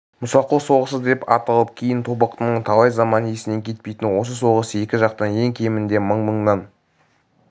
мұсақұл соғысы деп ат алып кейін тобықтының талай заман есінен кетпейтін осы соғыс екі жақтан ең кемінде мың-мыңнан